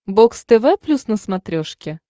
бокс тв плюс на смотрешке